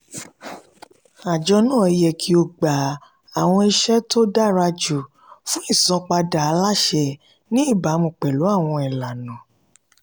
àjọ náà yẹ kí ó gba àwọn ìṣe dára jù fún ìsanpadà aláṣẹ ní ìbámu pẹ̀lú àwọn ìlànà.